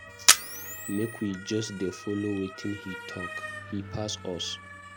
Make we just dey follow wetin he talk. He pass us.